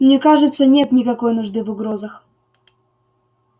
мне кажется нет никакой нужды в угрозах